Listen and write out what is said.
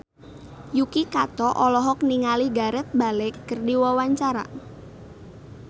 Yuki Kato olohok ningali Gareth Bale keur diwawancara